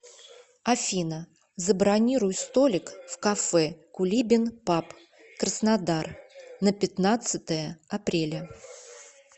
афина забронируй столик в кафе кулибин паб краснодар на пятнадцатое апреля